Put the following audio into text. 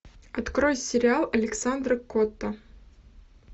открой сериал александра котта